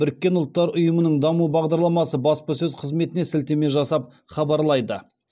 біріккен ұлттар ұйымының даму бағларламасы баспасөз қызметіне сілтеме жасап хабарлайды